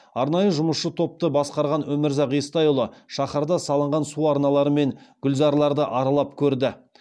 арнайы жұмысшы топты басқарған өмірзақ естайұлы шаһарда салынған су арналары мен гүлзарларды аралап көрді